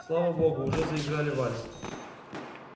слава богу уже заиграли вальс